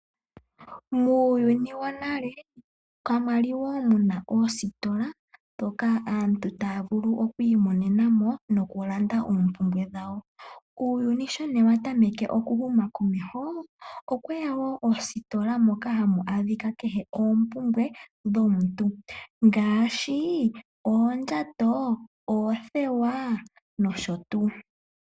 Muuyuni wonale kamwali woo muna oositola dhokaa aantu taavulu okwiimonenamo nokulanda oompumbwe dhawo. Uuyuni sho nee watameke okuhuma komeho okweya woo oositola moka hamu adhika kehe oompumbwe dhomuntu. Ngaashi oondjato, oothewaa nosho tuu.